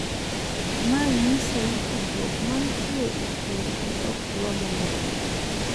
Ma nyiso ni tudruok mantie e kindgi ok dwa mondo okethre.